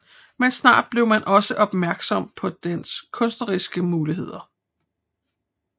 Men snart blev man også opmærksom på dens kunstneriske muligheder